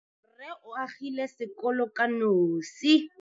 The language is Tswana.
Rrê o agile sekolo ka nosi.